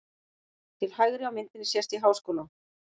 Til hægri á myndinni sést í Háskólann.